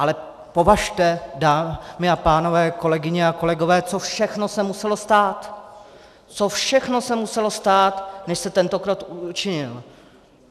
Ale považte, dámy a pánové, kolegyně a kolegové, co všechno se muselo stát, co všechno se muselo stát, než se tento krok učinil.